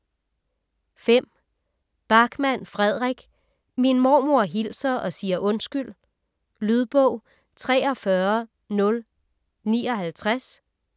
Backman, Fredrik: Min mormor hilser og siger undskyld Lydbog 43059